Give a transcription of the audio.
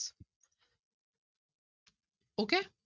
Okay